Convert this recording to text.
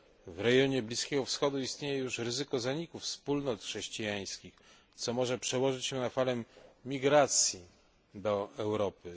W rejonie Bliskiego Wschodu istnieje już ryzyko zaniku wspólnot chrześcijańskich, co może przełożyć się na falę migracji do Europy.